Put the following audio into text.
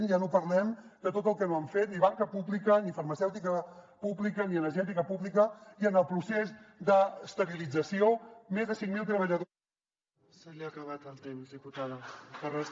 ja no parlem de tot el que no han fet ni banca pública ni farmacèutica pública ni energètica pública i en el procés d’estabilització més de cinc mil treballadors